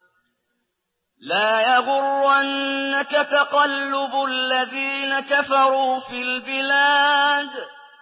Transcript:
لَا يَغُرَّنَّكَ تَقَلُّبُ الَّذِينَ كَفَرُوا فِي الْبِلَادِ